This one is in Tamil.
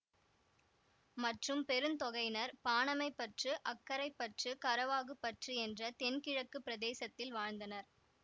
மற்றும் பெருந்தொகையினர் பாணமைப்பற்று அக்கரைப்பற்று கரவாகுப்பற்று என்ற தென்கிழக்குப் பிரதேசத்தில் வாழ்ந்தனர்